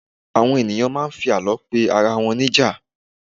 àwọn ènìyàn ma n fi àlọ pe arawọn níjà